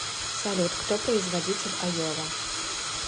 салют кто производитель айова